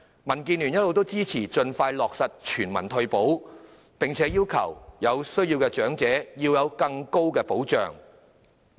民建聯一直支持盡快落實全民退保，並要求讓有需要的長者獲得更高保障。